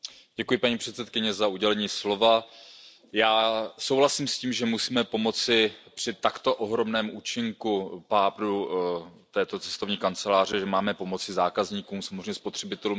Paní předsedající, já souhlasím s tím, že musíme pomoci při takto ohromném účinku pádu této cestovní kanceláře, že máme pomoci zákazníkům, samozřejmě spotřebitelům.